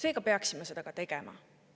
Me peaksime seda tegema.